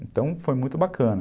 Então, foi muito bacana.